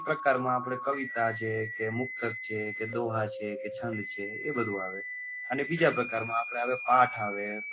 એક પ્રકાર માં આપડે કવિતા જે દોહા છે કે મુક્તક છે કે છંદ છે કે એ બધું આવે અને બીજા પ્રકાર માં આપડે પાઠ આવે,